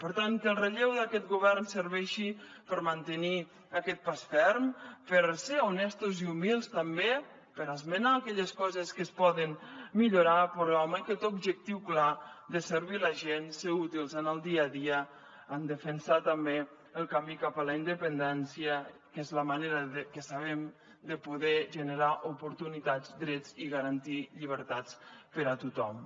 per tant que el relleu d’aquest govern serveixi per mantenir aquest pas ferm per ser honestos i humils també per esmenar aquelles coses que es poden millorar però amb aquest objectiu clar de servir la gent ser útils en el dia a dia en defensar també el camí cap a la independència que és la manera que sabem de poder generar oportunitats drets i garantir llibertats per a tothom